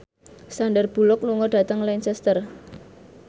Sandar Bullock lunga dhateng Lancaster